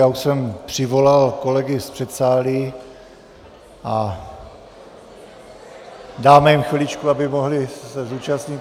Já už jsem přivolal kolegy z předsálí a dáme jim chviličku, aby se mohli zúčastnit.